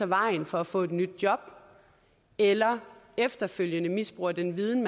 vejen for at få et nyt job eller efterfølgende misbruger den viden